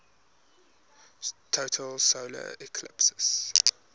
total solar eclipse